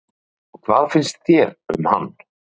Erla Hlynsdóttir: Og hvað finnst þér um hann?